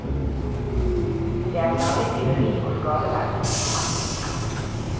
Det er særlig tyveri og skadeverk som er mest utbredt.